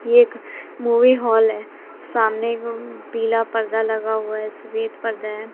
ये एक movie hall है सामने एगो अअ पीला पर्दा लगा हुआ है सफेद पर्दा है।